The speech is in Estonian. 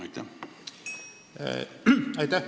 Aitäh!